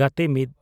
(ᱜᱟᱛᱮ ᱑)